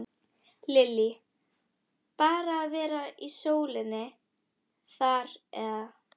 Lillý: Bara að vera í sólinni þar eða?